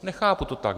Nechápu to tak.